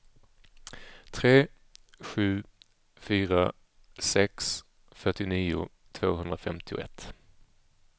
tre sju fyra sex fyrtionio tvåhundrafemtioett